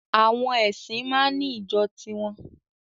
Àwọn ẹ̀sìn máa ń ní ìjọ tiwọn